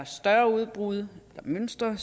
større udbrud eller mønstre